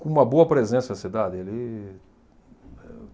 com uma boa presença na cidade, ele.